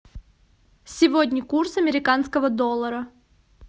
сегодня курс американского доллара